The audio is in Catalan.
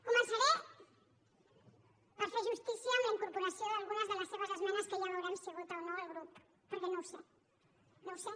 començaré per fer justícia amb la incorporació d’algunes de les seves esmenes que ja veurem si vota o no el grup perquè no ho sé no ho sé